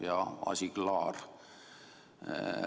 Ja asi klaar.